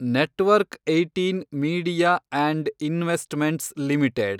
network ೧೮ media and investments limited